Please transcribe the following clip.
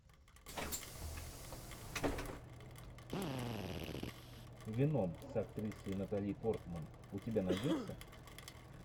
веном с актрисой натали портман у тебя найдется